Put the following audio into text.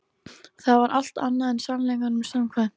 Það var allt annað en sannleikanum samkvæmt.